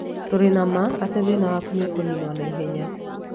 Tũrĩ na ma atĩ thĩna waku nĩ ũkũninwo na ihenya.